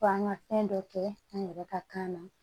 F'an ga fɛn dɔ kɛ an yɛrɛ ka kan na